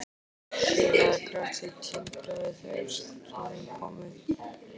Hélað gras tindraði þegar sólin kom upp.